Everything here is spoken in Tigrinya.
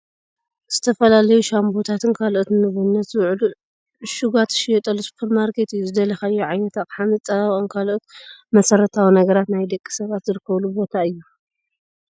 ዝተፈላለዩ ሻንቦታትን ካልኦት ንምግብነት ዝውዕሉ ዕሹጋት ዝሽየጠሉ ሱፐርማርኬት እዩ። ዝደለካዮ ዓይነት ኣቅሓ መፀባበቂን ካልኦት መሰረታዊ ነገራት ናይ ደቂ ሰባት ዝርከበሉ ቦታ እዩ።